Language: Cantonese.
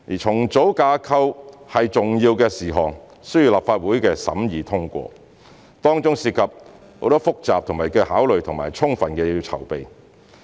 重組架構是重要事項，需要立法會審議通過，當中涉及很多複雜的考慮和需要充分的籌備。